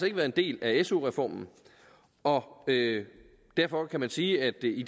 ikke været en del af su reformen og derfor kan man sige at det jo i